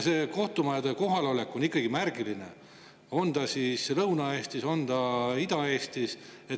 See kohtumajade kohalolek on ikkagi märgiline, on ta siis Lõuna-Eestis või on ta Ida-Eestis.